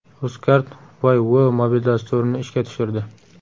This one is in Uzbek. Uzcard Woy-wo‘ mobil dasturini ishga tushirdi.